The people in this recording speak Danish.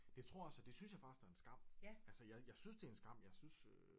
Det tror jeg også og det synes jeg faktisk er en skam altså jeg synes det er en skam jeg synes øh